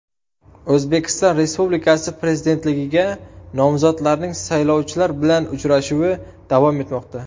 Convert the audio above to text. O‘zbekiston Respublikasi Prezidentligiga nomzodlarning saylovchilar bilan uchrashuvi davom etmoqda.